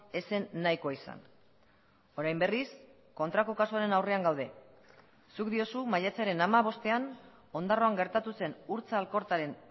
ez zen nahikoa izan orain berriz kontrako kasuaren aurrean gaude zuk diozu maiatzaren hamabostean ondarroan gertatu zen urtza alkortaren